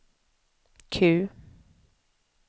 Q